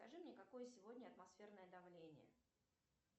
скажи мне какое сегодня атмосферное давление